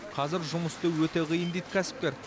қазір жұмыс істеу өте қиын дейді кәсіпкер